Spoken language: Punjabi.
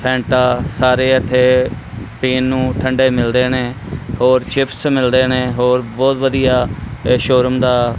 ਫੈਂਟਾ ਸਾਰੇ ਏੱਥੇ ਪੀਣ ਨੂੰ ਠੰਡੇ ਮਿਲਦੇ ਨੇਂ ਹੋਰ ਚਿੱਪਸ ਮਿਲਦੇ ਨੇਂ ਹੋਰ ਬੋਹੁਤ ਵਧੀਆ ਏਸ ਸ਼ੋਰੂਮ ਦਾ--